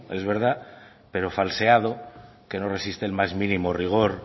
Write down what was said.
es verdad pero falseado que no resiste ni un mínimo rigor